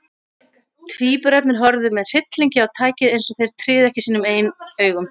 Tvíburarnir horfðu með hryllingi á tækið, eins og þeir tryðu ekki sínum eigin augum.